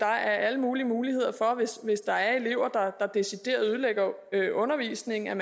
er alle mulige muligheder hvis der er elever der decideret ødelægger undervisningen